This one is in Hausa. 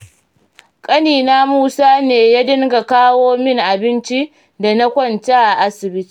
Ƙanina musa ne ya dinga kawo min abinci, da na kwanta a asibiti.